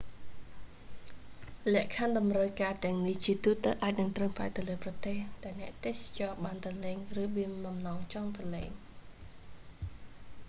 លក្ខខណ្ឌតម្រូវការទាំងនេះជាទូទៅអាចនឹងត្រូវផ្អែកទៅលើប្រទេស ដែលអ្នកទេសចរបានទៅលេង ឬមានបំណងចង់ទៅលេង